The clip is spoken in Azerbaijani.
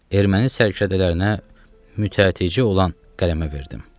Erməni sələdələrinə mütəcici olan qələmə verdim.